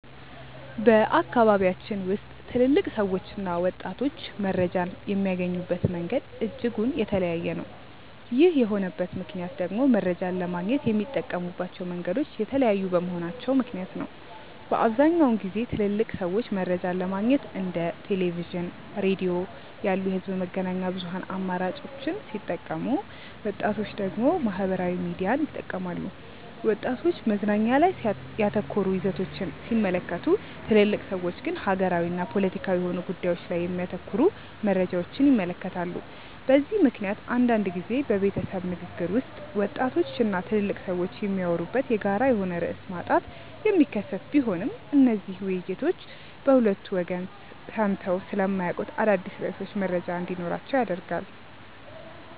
በአካባቢያችን ውስጥ ትልልቅ ሰዎችና ወጣቶች መረጃን የሚያገኙበት መንገድ እጅጉን የተለያየ ነው። ይህ የሆነበት ምክንያት ደግሞ መረጃን ለማግኘት የሚጠቀሙባቸው መንገዶች የተለያዩ በመሆናቸው ምክንያት ነው። በአብዛኛውን ጊዜ ትልልቅ ሰዎች መረጃን ለማግኘት እንደ ቴሌቪዥን፣ ሬዲዮ ያሉ የህዝብ መገናኛ ብዙሃን አማራጮችን ሲጠቀሙ ወጣቶች ደግሞ ማህበራዊ ሚዲያን ይጠቀማሉ። ወጣቶች መዝናኛ ላይ ያተኮሩ ይዘቶችን ሲመለከቱ ትልልቅ ሰዎች ግን ሀገራዊና ፖለቲካዊ የሆኑ ጉዳዮች ላይ የሚያተኩሩ መረጃዎችን ይመለከታሉ። በዚህ ምክንያት አንዳንድ ጊዜ በቤተሰብ ንግግር ውስጥ ወጣቶች እና ትልልቅ ሰዎች የሚያወሩበት የጋራ የሆነ ርዕስ ማጣት የሚከሰት ቢሆንም እነዚህ ውይይቶች በሁለቱ ወገን ሰምተው ስለማያውቁት አዳዲስ ርዕሶች መረጃ እንዲኖራቸው ያደርጋል።